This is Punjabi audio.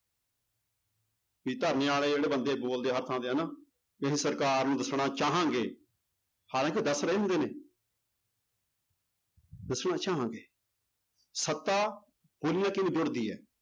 ਵੀ ਧਰਨੇ ਵਾਲੇ ਜਿਹੜੇ ਬੰਦੇ ਬੋਲਦੇ ਆ ਹਰ ਥਾਂ ਤੇ ਹਨਾ ਵੀ ਅਸੀਂ ਸਰਕਾਰ ਨੂੰ ਦੱਸਣਾ ਚਾਹਾਂਗੇ ਹਾਲਾਂਕਿ ਦੱਸ ਰਹੇ ਹੁੰਦੇ ਨੇ ਦੱਸਣਾ ਚਾਹਾਂਗਾ ਸੱਤਾ ਬੋਲੀ ਨਾਲ ਕਿਵੇਂ ਜੁੜਦੀ ਹੈ